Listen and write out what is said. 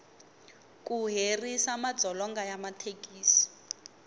ku herisa madzolonga ya mathekisi